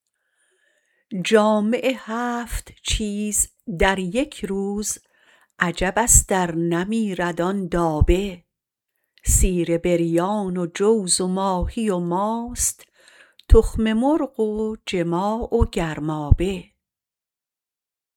جامع هفت چیز در یک روز عجبست ار نمیرد آن دابه سیر بریان و جوز و ماهی و ماست تخم مرغ و جماع و گرمابه